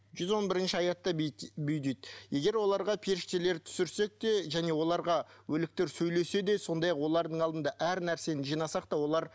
жүз он бірінші аятта бүй дейді егер оларға періштелер түсірсек те және оларға өліктер сөйлесе де сондай ақ олардың алдында әр нәрсені жинасақ та олар